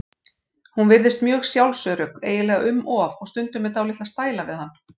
Hún virðist mjög sjálfsörugg, eiginlega um of, og stundum með dálitla stæla við hann.